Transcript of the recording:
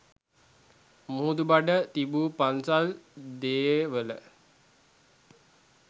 මුහුදුබඩ තිබු පන්සල් දේවල